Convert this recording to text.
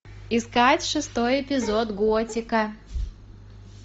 искать шестой эпизод готика